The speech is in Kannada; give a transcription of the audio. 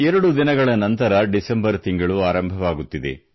2 ದಿನಗಳ ನಂತರ ಡಿಸೆಂಬರ್ ತಿಂಗಳು ಆರಂಭವಾಗುತ್ತಿದೆ